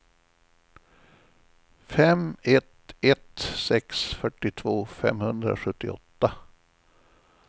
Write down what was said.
fem ett ett sex fyrtiotvå femhundrasjuttioåtta